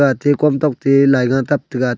ate komtok te laiga tap taiga.